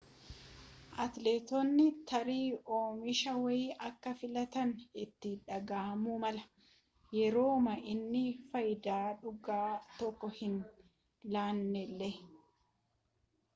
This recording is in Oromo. atileetotni tarii oomisha wayii akka filatan itti dhaga'amuu mala yerooma inni faayidaa dhugaa tokko hin laannellee